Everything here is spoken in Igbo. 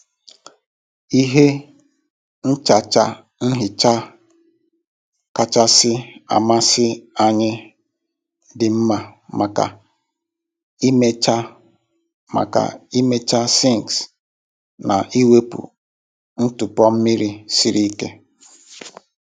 Ihe nchacha nhicha kachasị amasị anyị dị mma maka ịmecha maka ịmecha sinks na iwepu ntụpọ mmiri siri ike.